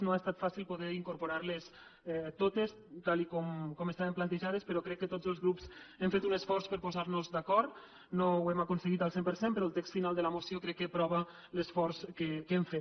no ha estat fàcil poder incorporar les totes tal com estaven plantejades però crec que tots els grups hem fet un esforç per a posar nos d’acord no ho hem aconseguit al cent per cent però el text final de la moció crec que prova l’esforç que hem fet